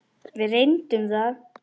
Við reyndum það.